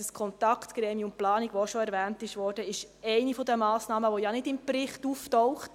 Das Kontaktgremium Planung, welches auch schon erwähnt wurde, ist eine der Massnahmen, welche ja im Bericht nicht auftaucht.